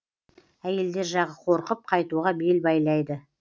әйелдер жағы қорқып қайтуға бел байлайды